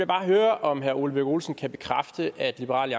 bare høre om herre ole birk olesen kan bekræfte at liberal